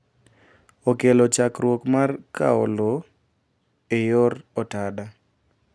Okelo chakruok mar kawo low e yor otada